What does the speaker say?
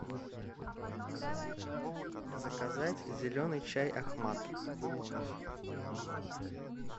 заказать зеленый чай ахмад выполнить